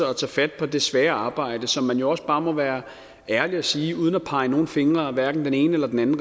og tage fat på det svære arbejde som man jo også bare må være ærlig at sige uden at man peger fingre ad hverken den ene eller den anden